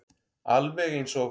Alveg eins og